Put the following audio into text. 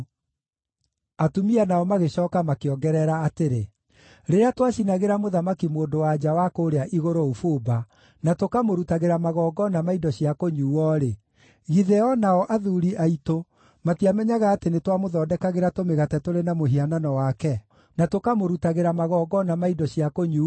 Atumia nao magĩcooka makĩongerera atĩrĩ, “Rĩrĩa twacinagĩra Mũthamaki-Mũndũ-wa-nja wa kũũrĩa Igũrũ ũbumba, na tũkamũrutagĩra magongona ma indo cia kũnyuuo-rĩ, githĩ o nao athuuri aitũ matiamenyaga atĩ nĩtwamũthondekagĩra tũmĩgate tũrĩ na mũhianano wake, na tũkamũrutagĩra magongona ma indo cia kũnyuuo?”